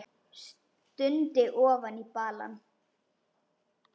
Stundi ofan í balann.